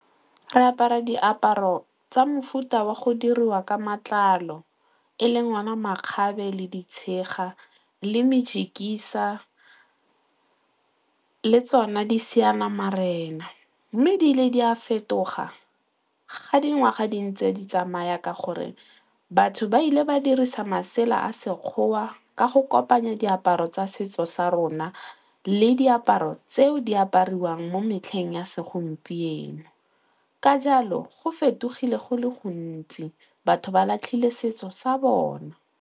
Re apara diaparo tsa mofuta wa go diriwa ka matlalo e leng ona makgabe le ditshega le mejikisa le tsone di seanamarena mme ebile di a fetoga ga dingwaga di ntse di tsamaya ka gore batho ba ile ba dirisa masela a Sekgowa ka go kopanya diaparo tsa setso sa rona le diaparo tseo di apariwang mo metlheng ya segompieno ka jalo go fetogile go le gontsi, batho ba latlhile setso sa bona.